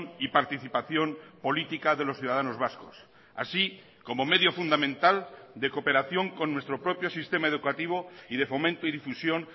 y participación política de los ciudadanos vascos así como medio fundamental de cooperación con nuestro propio sistema educativo y de fomento y difusión